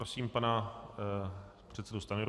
Prosím pana předsedu Stanjuru.